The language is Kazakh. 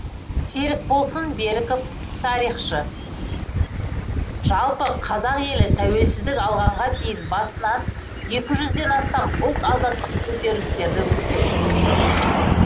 серікболсын беріков тарихшы жалпы қазақ елі тәуелсіздік алғанға дейін басынан екі жүзден астам ұлт азаттық көтерілістерді өткізген